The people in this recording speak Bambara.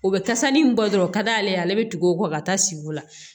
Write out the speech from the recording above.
O bɛ kasa nin bɔ dɔrɔn o ka d'ale ye ale bɛ tugu o kɔ ka taa si o la